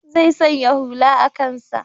Zai sanya hula a kansa.